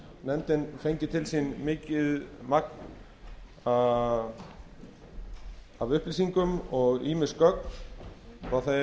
nefndin fengið til sín mikið magn af upplýsingum og ýmis gögn frá